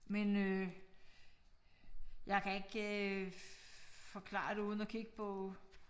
Men øh jeg kan ikke øh forklare det uden at kigge på